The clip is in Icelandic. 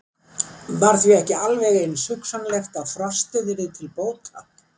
Var því ekki alveg eins hugsanlegt að frostið yrði til bóta?